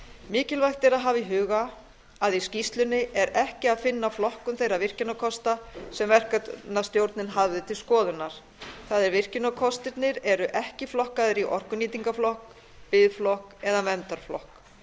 mikilvægt er að hafa í huga að í skýrslunni er ekki að finna flokkun þeirra virkjunarkosta sem verkefnastjórnin hafði til skoðunar þar eð virkjunarkostirnir eru ekki flokkaðir í orkunýtingarflokk biðflokk eða verndarflokk